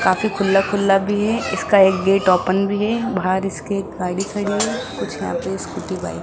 काफी खुल्ला खुल्ला भी है इसका एक गेट ओपन भी है बाहर इसके गाड़ी खड़ी है कुछ न नाचूस स्कूटी बाइक --